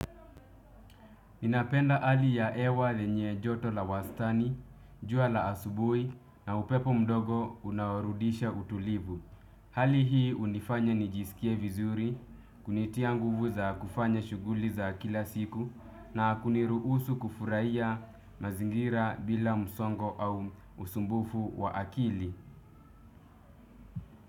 Ninapenda hali ya hewa lenye joto la wastani, jua la asubuhi na upepo mdogo unoarudisha utulivu. Hali hii hunifanya nijisikie vizuri, kunitia nguvu za kufanya shughuli za kila siku na kuniruhusu kufurahiya mazingira bila msongo au usumbufu wa akili.